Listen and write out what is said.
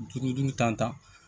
Duuru duuru tan ta